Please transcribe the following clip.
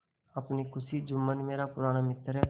अपनी खुशी जुम्मन मेरा पुराना मित्र है